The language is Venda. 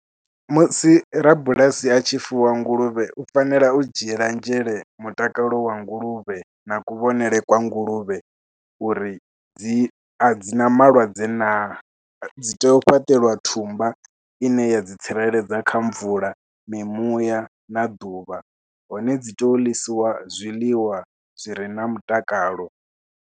Musi rabulasi a tshi fuwa nguluvhe u fanela u dzhiela nzhele mutakalo wa nguluvhe na kuvhonele kwa nguluvhe uri dzi a dzi na malwadze naa, dzi tea u fhaṱeliwa thumbwa ine ya dzi tsireledza kha mvula, mimuya na ḓuvha hone dzi tea u ḽisiwa zwiḽiwa zwi re na mutakalo.